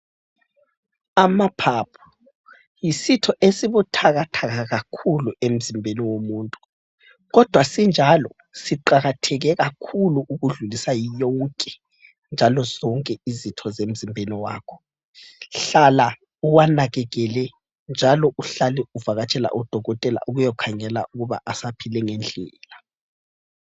Amaphaphu yisitho esibuthakathaka kakhulu emzimbeni womuntu kodwa sinjalo siqakatheke kakhulu ukudlulisa yonke, njalo zonke izitho zemzimbeni wakho. Hlala uwanakekele njalo uhlale uvakatshele odokotela ukuyokhangela ukuba asaphile ngendlela.